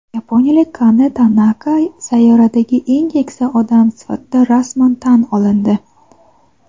Yaponiyalik Kane Tanaka sayyoradagi eng keksa odam sifatida rasman tan olindi.